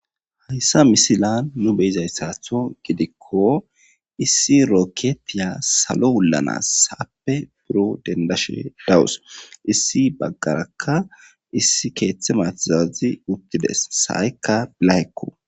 Hayissa misiliyani nu be'izayisatho giko issi orokotiya salo mela sa'appe pude denidashe dawusi. Issi bagarakka issi kethi sa'ayika layima.